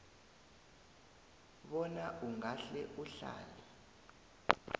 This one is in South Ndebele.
bona ungahle uhlale